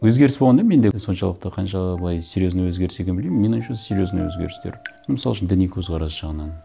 өзгеріс болғанда менде соншалықты қанша былай серьезный өзгеріс екенін білмеймін менің ойымша серьезный өзгерістер мысал үшін діни көзқарас жағынан